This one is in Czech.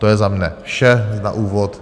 To je za mne vše na úvod.